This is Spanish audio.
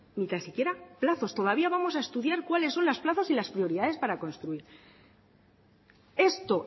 ni tan siquiera plazos todavía vamos a estudiar cuáles son los plazos y las prioridades para construir esto